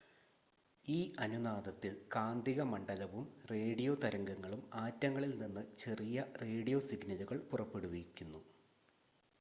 ഈ അനുനാദത്തിൽ കാന്തിക മണ്ഡലവും റേഡിയോ തരംഗങ്ങളും ആറ്റങ്ങളിൽ നിന്ന് ചെറിയ റേഡിയോ സിഗ്‌നലുകൾ പുറപ്പെടുവിപ്പിക്കുന്നു